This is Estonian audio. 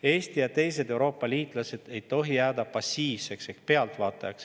Eesti ja teised Euroopa liitlased ei tohi jääda passiivseks ehk pealtvaatajaks.